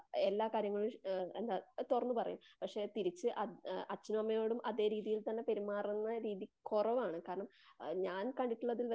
എല്ലാ കാര്യങ്ങളും ഏ എന്താ തുറന്ന് പറയും. പക്ഷെ തിരിച്ചു അത് അച്ഛനമ്മയോടും അതെ രീതിയിൽ തന്നെ പെരുമാറുന്ന രീതി കുറവാണു. കാരണം ഞാൻ കണ്ടിട്ടുള്ളതിൽ വെച്ച്